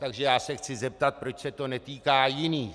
Takže já se chci zeptat, proč se to netýká jiných.